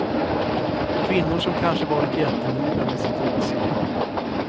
Kvinnor som kanske varit jättenoga med sitt utseende.